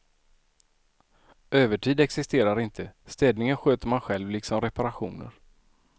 Övertid existerar inte, städningen sköter man själv liksom reparationer.